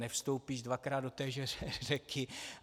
Nevstoupíš dvakrát do téže řeky.